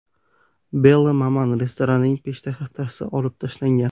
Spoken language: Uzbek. Belle Maman” restoranining peshtaxtasi olib tashlangan.